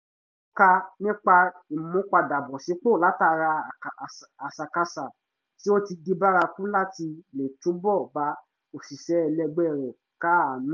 ó kà nípa ìmúpadàbọ̀sípò látara àṣàkáṣà tí ó ti di bárakú láti lè túbọ̀ bá òṣìṣẹ́ ẹlẹgbẹ́ rẹ̀ káàánú